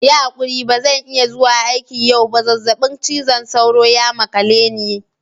Yi hakuri ba zan iya zuwa aiki yau ba. zazzabin cizon sauro ya makale ni.